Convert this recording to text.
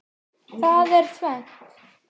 Það er tvennt.